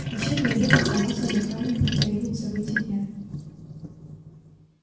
вечерний обед оказался зеркальным повторением событий дня